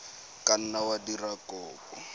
ka nna wa dira kopo